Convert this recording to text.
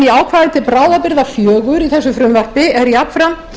í ákvæði til bráðabirgða fjögur í þessu frumvarpi er jafnframt